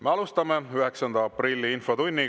Me alustame 9. aprilli infotundi.